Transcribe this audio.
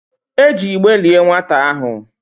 E ji igbe lié nwata ahụ.